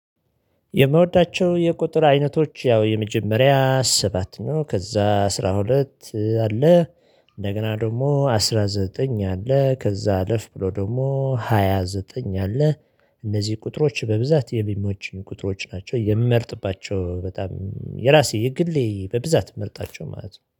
የምወዳቸው የቁጥር አይነቶች ያው የመጀመሪያ ሰባት ነው ከዛ አስራ ሁለት አለ። እንደገና ደግሞ አስራ ዘጠኝ አለ ከዛ አለፍ ብሎ ደግሞ ሃያ ዘጠኝ አለ። እነዚህ ቁጥሮች በብዛት የሚመቹኝ ቁጥሮች ናቸው የምመርጥባቸው በጣም የራሴ የግሌ በብዛት ምመርጣቸው ማለት ነው